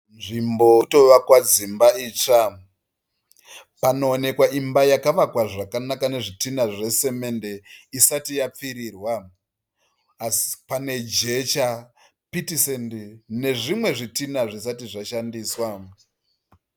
Nzvimbo irikutovakwa dzimba itsva, panoonekwa imba yakavakwa zvakanaka nezvidhinha zvesemende isati yapfirirwa asi pane jecha, piti sendi nezvimwe zvidhina zvisati zvashandiswa.